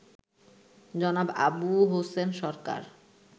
জনাব আবু হোসেন সরকার